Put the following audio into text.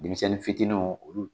Denmisɛnnin fitininw olu